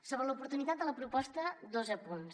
sobre l’oportunitat de la proposta dos apunts